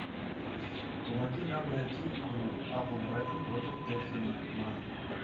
помоги нам найти игру апл брайтон против тоттенхэма